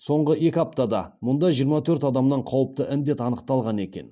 соңғы екі аптада мұнда жиырма төрт адамнан қауіпті індет анықталған екен